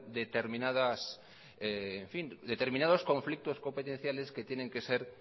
determinados conflictos competenciales que tienen que ser